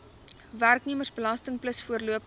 werknemersbelasting plus voorlopige